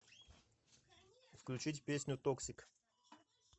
включить песню токсик